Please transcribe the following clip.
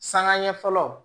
Sangaɲɛ fɔlɔ